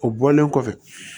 O bɔlen kɔfɛ